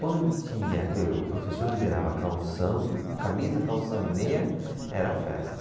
Quando tinha que o professor liberava calção, camisa, calção e meia, era festa.